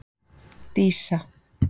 Dísa